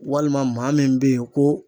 Walima maa min bɛ yen ko